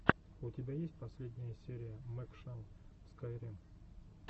у тебя есть последняя серия мэкшан скайрим